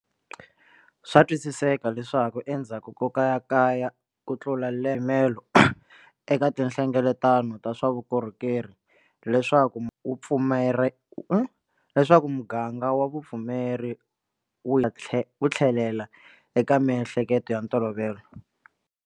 Swa twisiseka leswaku endzhaku ko kayakaya kutlula lembe eka tinhlengeletano ta swa vukhongeri leswaku muganga wa vupfumeri wu tlhelela eka miehleketo ya ntolovelo.